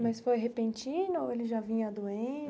Mas foi repentino ou ele já vinha doente?